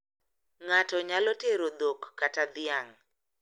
Ng`ato nyalo tero dhok kata dhiang`.